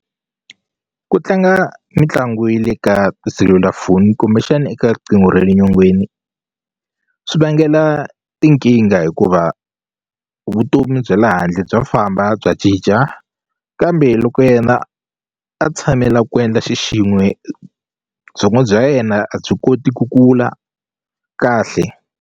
Ku tlanga mitlangu ya le ka tiselulafoni kumbexana eka riqingho ra le nyongeni swi vangela tinkingha hikuva vutomi bya la handle bya famba bya cinca kambe loko yena a tshamela ku endla xixin'we byongo bya yena a byi koti ku kula kahle.